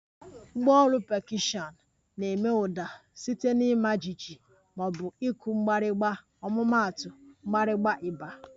Ngwá ọrụ pekọshiọn na-eme ụda site na ịma jijiji ma ọ bụ ịkụ mgbịrịgba ọmụmaatu, mgbirigba, ịgba